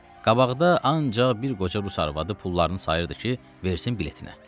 Qabaqda ancaq bir qoca rus arvadı pullarını sayırdı ki, versin biletinə.